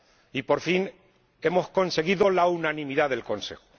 Y por fin hemos conseguido la unanimidad del Consejo.